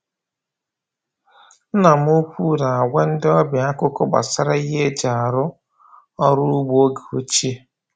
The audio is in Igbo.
Nna m ukwu na-agwa ndị ọbịa akụkọ gbasara ihe eji arụ ọrụ ugbo oge ochie.